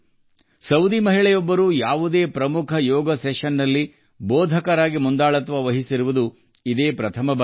Saudi ಮಹಿಳೆಯೊಬ್ಬರು ಮುಖ್ಯ ಯೋಗಾಸನಕ್ಕೆ ಸೂಚನೆ ನೀಡಿರುವುದು ಇದೇ ಮೊದಲು